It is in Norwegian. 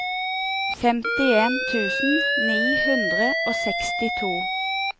femtien tusen ni hundre og sekstito